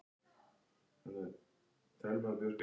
Pabbi hans var járnsmiður.